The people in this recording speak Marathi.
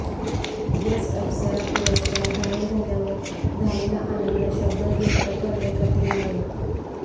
बेस्ट अप्सरा पुरस्कार जाहीर झाल्यावर झालेला आनंद शब्दात व्यक्त करणे कठीण आहे